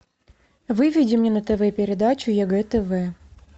выведи мне на тв передачу егэ тв